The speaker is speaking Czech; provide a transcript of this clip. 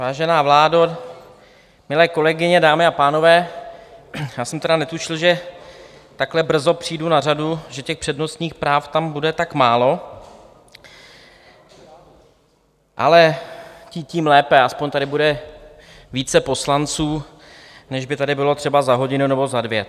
Vážená vládo, milé kolegyně, dámy a pánové, já jsem tedy netušil, že takhle brzo přijdu na řadu, že těch přednostních práv tam bude tak málo, ale tím lépe, aspoň tady bude více poslanců, než by tady bylo třeba za hodinu nebo za dvě.